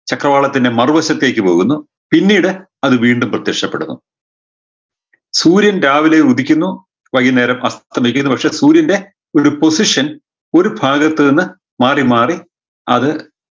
ചക്രവാളത്തിൻറെ മറുവശത്തേക്ക് പോകുന്നു പിന്നീട് അത് വീണ്ടും പ്രത്യക്ഷപ്പെടുന്നു സൂര്യൻ രാവിലെ ഉദിക്കുന്നു വൈകുന്നേരം അസ്തമിക്കുന്നു പക്ഷേ സൂര്യൻറെ ഒരു position ഒരു ഭാഗത്ത് നിന്ന് മാറി മാറി അത്